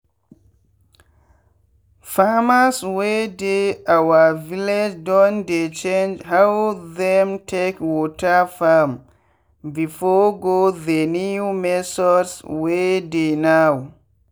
farmers wey dey our village don dey change how them take water farm before go the new methods wey dey now.